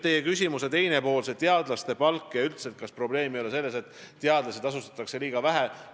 Teie küsimuse teine pool käsitles teadlaste palka ja üldse seda, kas probleem ei ole selles, et teadlasi tasustatakse liiga vähe.